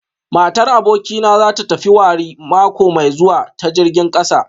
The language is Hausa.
Matar abokina za ta tafi wari mako mai zuwa ta jirgin kasa